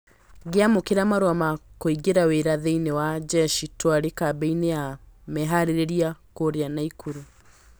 "Ngĩamũkĩra marũa ma kũingĩra wĩra thĩiniĩ wa njeshi twarĩ kambĩ-inĩ ya meharĩrĩria kũũrĩa Naikuru".